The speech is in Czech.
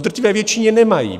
V drtivé většině nemají.